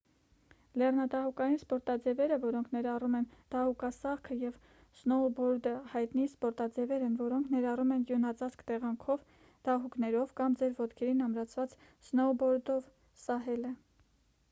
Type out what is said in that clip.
lեռնադահուկային սպորտaևերը որոնք ներառում են դահուկասահքը և սնոուբորդը հայտնի սպորտաձևեր են որոնք ներառում են ձյունածածկ տեղանքով՝ դահուկներով կամ ձեր ոտքերին ամրացված սնոուբորդով սահելը: